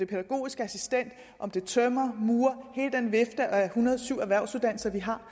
pædagogisk assistent om det er tømrer murer hele den vifte af en hundrede og syv erhvervsuddannelser vi har